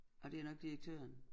Ej det jo nok direktøren